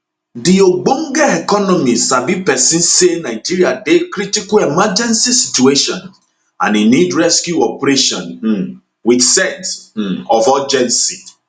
di ogbonge economy sabi pesin say nigeria dey critical emergency situation and e need rescue operation um wit sense um of urgency